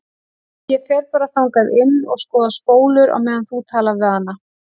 Ég fer bara þangað inn og skoða spólur á meðan þú talar við hana.